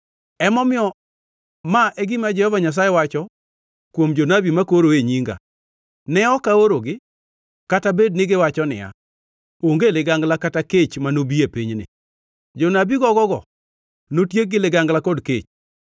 Emomiyo, ma e gima Jehova Nyasaye wacho kuom jonabi makoro e nyinga: Ne ok aorogi, kata bed ni giwacho niya, ‘Onge ligangla kata kech manobi e pinyni.’ Jonabi gogo-go notiek gi ligangla kod kech.